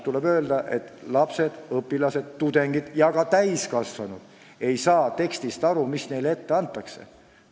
Tuleb tunnistada, et lapsed, õpilased, tudengid ja ka täiskasvanud ei saa aru tekstist, mis neile ette antakse.